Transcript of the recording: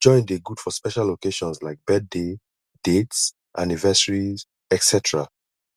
joint de good for special occasions like birthday dates anniversiry etc